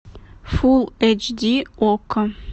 фул эйч ди окко